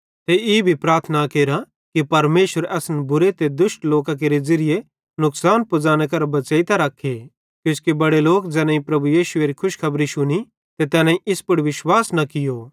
ते ई भी प्रार्थना केरा कि परमेशर असन बुरे ते दुष्ट लोकां केरे ज़िरिये नुकसान पुज़ाने करां बच़ेइतां रख्खे किजोकि बड़े लोक ज़ैनेईं प्रभु यीशुएरी खुशखबरी शुनी ते तैनेईं इस पुड़ विश्वास न कियो